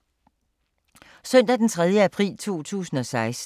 Søndag d. 3. april 2016